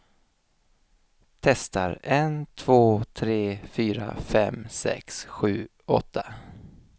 Testar en två tre fyra fem sex sju åtta.